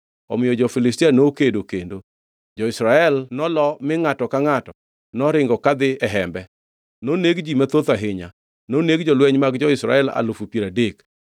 Omiyo jo-Filistia nokedo kendo, jo-Israel nolo mi ngʼato ka ngʼato noringo kadhi e hembe. Noneg ji mathoth ahinya! Noneg jolweny mag jo-Israel alufu piero adek.